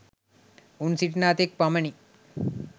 උන් සිටිනා තෙක් පමණි.